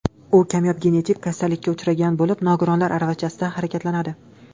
U kamyob genetik kasallikka uchragan bo‘lib, nogironlar aravachasida harakatlanadi.